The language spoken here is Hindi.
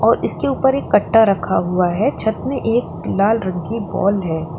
इसके ऊपर एक कट्टा रखा हुआ है छत में एक लाल रंग की बाल है।